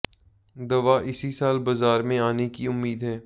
दवा इसी साल बाजार में आने की उम्मीद है